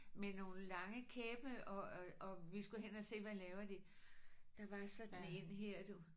Med nogle lange kæppe og og og vi skulle hen og se hvad laver de. Der var sådan en her du